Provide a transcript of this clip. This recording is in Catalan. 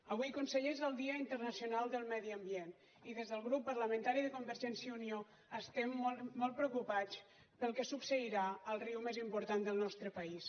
avui conseller és el dia internacional del medi ambient i des del grup parlamentari de convergència i unió estem molt preocupats pel que succeirà al riu més important del nostre país